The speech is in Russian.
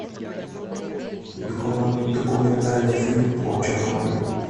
документальный фильм о чернобыле